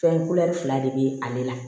Fɛn fila de be ale la